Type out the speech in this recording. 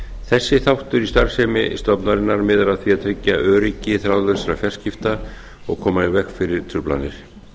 þessi þáttur í starfsemi stofnunarinnar miðar að því að tryggja öryggi þráðlausra fjarskipta og koma í veg fyrir truflanir